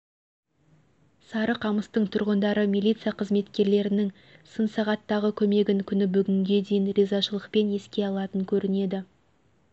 сарықамысытың тұрғындары милиция қызметкерлерінің сын сағаттағы көмегін күні бүгінге дейін ризашылықпен еске алатын көрінеді